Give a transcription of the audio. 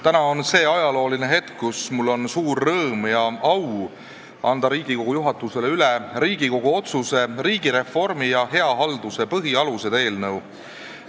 Täna on ajalooline hetk, mil mul on suur rõõm ja au anda Riigikogu juhatusele üle Riigikogu otsuse "Riigireformi ja hea halduse põhialused" eelnõu.